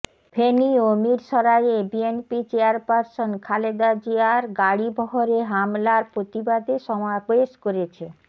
ফেনী ও মিরশরাইয়ে বিএনপি চেয়ারপারসন খালেদা জিয়ার গাড়িবহরে হামলার প্রতিবাদে সমাবেশ করেছে